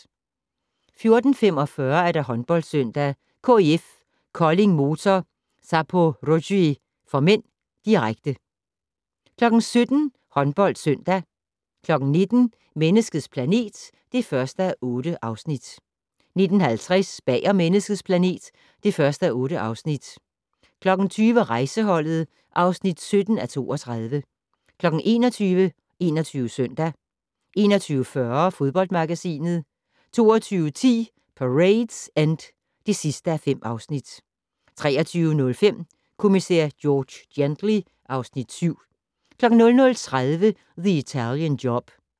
14:45: HåndboldSøndag: KIF Kolding-Motor Zaporozhye (m), direkte 17:00: HåndboldSøndag 19:00: Menneskets planet (1:8) 19:50: Bag om Menneskets planet (1:8) 20:00: Rejseholdet (17:32) 21:00: 21 Søndag 21:40: Fodboldmagasinet 22:10: Parade's End (5:5) 23:05: Kommissær George Gently (Afs. 7) 00:30: The Italian Job